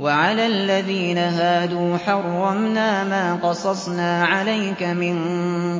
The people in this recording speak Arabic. وَعَلَى الَّذِينَ هَادُوا حَرَّمْنَا مَا قَصَصْنَا عَلَيْكَ مِن